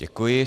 Děkuji.